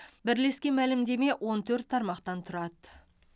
бірлескен мәлімдеме он төрт тармақтан тұрады